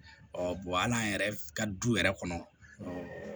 hal'an yɛrɛ ka du yɛrɛ kɔnɔ